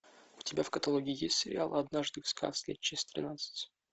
у тебя в каталоге есть сериал однажды в сказке часть тринадцать